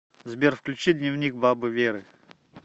сбер включи дневник бабы веры